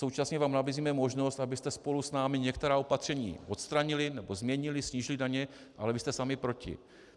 Současně vám nabízíme možnost, abyste spolu s námi některá opatření odstranili nebo změnili, snížili daně, ale vy jste sami proti.